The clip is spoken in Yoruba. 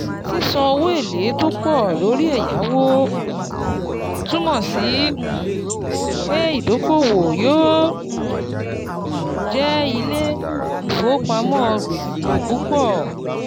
Sísan owó èlé tó pọ̀ lórí ẹ̀yáwó um túmọ̀ sí um pé ìdókòwò yóò um jẹ ilé-ìfowópamọ́ gbèsè púpọ̀.